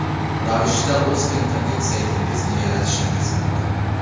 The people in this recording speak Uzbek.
ravishda o‘z internet saytingizni yaratishingiz mumkin.